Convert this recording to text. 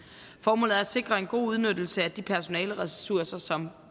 formålet er at sikre en god udnyttelse af de personaleressourcer som